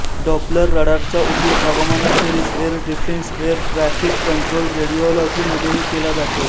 Doppler रडारचा उपयोग हवामानाखेरीज air defence air traffic control रेडीओलॉजीमध्येही केला जातो